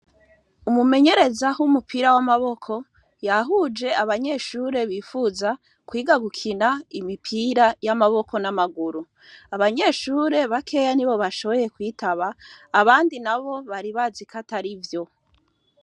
Umumenyereza w'umupira w'amaboko yahuje abanyeshure bifuza kwiga gukina imipira y'amaboko n'amaguru. Abanyeshure bakeya nibo bashoboye kwitaba, abandi nabo bari bazi ko atarivyo.